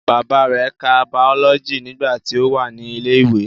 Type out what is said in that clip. Bàbá rẹ̀ ka bàọ́lọ́jì nígbà tí ó wà ní ilẹ̀ ìwé